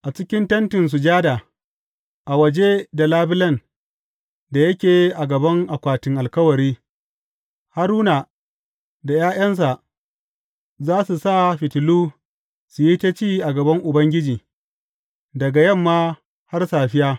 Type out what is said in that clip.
A cikin Tentin Sujada, a waje da labulen da yake a gaban Akwatin Alkawari, Haruna da ’ya’yansa za su sa fitilu su yi ta ci a gaban Ubangiji, daga yamma har safiya.